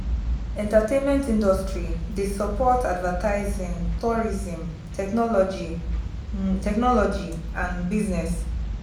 entertainment industry de support advertising tourism technology technology and business